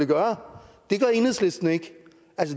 gøre det gør enhedslisten ikke